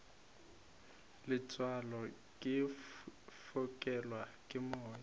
letswalo ke fokelwa ke moya